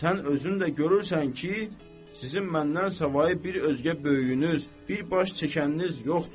sən özün də görürsən ki, sizin məndənsavayı bir özgə böyüyünüz, bir baş çəkəniniz yoxdur.